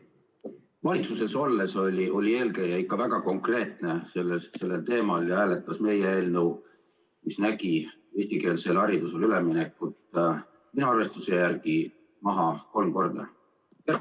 Valitsuses olles oli eelkõneleja ikka väga konkreetne sellel teemal ja hääletas meie eelnõu, mis nägi ette eestikeelsele haridusele ülemineku, minu arvestuse järgi kolm korda maha.